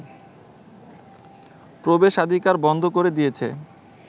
প্রবেশাধিকার বন্ধ করে দিয়েছে